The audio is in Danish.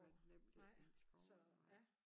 Nemlig en skov nej